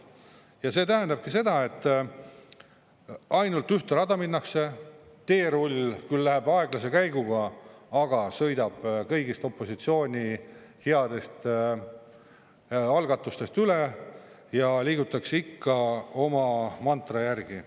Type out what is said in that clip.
Ja see tähendabki seda, et ainult ühte rada minnakse, teerull läheb küll aeglase käiguga, aga sõidab kõigist opositsiooni headest algatustest üle, ja liigutakse ikka oma mantra järgi.